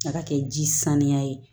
A ka kɛ ji saniya ye